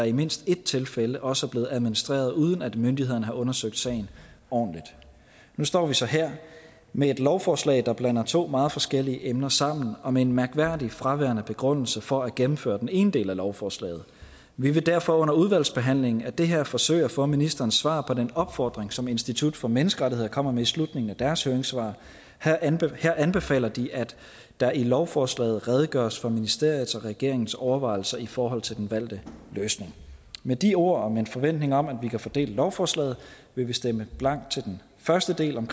i mindst et tilfælde også er blevet administreret uden at myndighederne har undersøgt sagen ordentligt nu står vi så her med et lovforslag der blander to meget forskellige emner sammen og med en mærkværdigt fraværende begrundelse for at gennemføre den ene del af lovforslaget vi vil derfor under udvalgsbehandlingen af det her forsøge at få ministerens svar på den opfordring som institut for menneskerettigheder kommer med i slutningen af deres høringssvar her anbefaler anbefaler de at der i lovforslaget redegøres for ministeriets og regeringens overvejelser i forhold til den valgte løsning med de ord og med en forventning om at vi kan få delt lovforslaget vil vi stemme blankt til den første del om